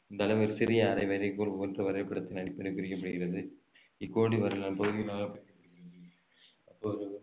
இந்த அளவில் சிறிய வரைகோல் போன்று வரைபடத்தின் அடிப்படையில் பிரிக்கப்படுகிறது இக்கோடு பகுதிகளாக